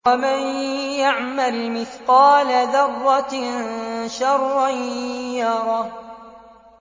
وَمَن يَعْمَلْ مِثْقَالَ ذَرَّةٍ شَرًّا يَرَهُ